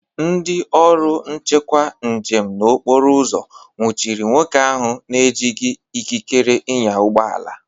Ndị ọrụ nchekwu njem na okporoụzọ nwuchiri nwoke ahụ na-ejighi ikikere ịnya ụgbọala.